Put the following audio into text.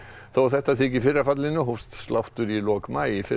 þó að þetta þyki í fyrra fallinu hófst sláttur í lok maí í fyrra